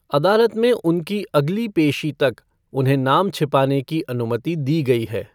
अदालत में उनकी अगली पेशी तक उन्हें नाम छिपाने की अनुमति दी गई है।